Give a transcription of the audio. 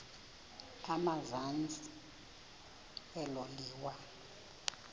emazantsi elo liwa